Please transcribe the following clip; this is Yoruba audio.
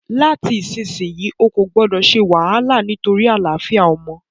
Láti ìsinsìyí, o kò gbọdọ̀ se wàhálà nítorí àlàáfíà ọmọ